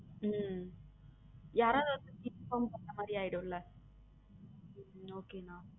உம் யாராவது ஒருத்தருக்கு inform பண்ண மாரிஆய்டும்ல okay அண்ணா.